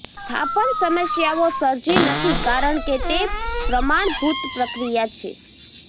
સ્થાપન સમસ્યાઓ સર્જી નથી કારણ કે તે પ્રમાણભૂત પ્રક્રિયા છે